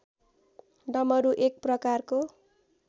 डमरु एक प्रकारको